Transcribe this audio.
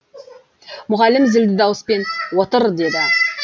мұғалім зілді дауыспен отыр деді